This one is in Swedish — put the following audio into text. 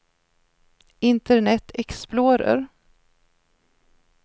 internet explorer